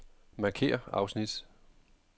Markér afsnit.